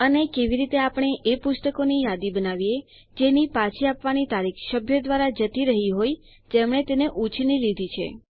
અને કેવી રીતે આપણે એ પુસ્તકોની યાદી બનાવીએ જેની પાછી આપવાની તારીખ સભ્યો દ્વારા જતી રહ્યી હોય જેમણે તે ઉછીની લીધી છે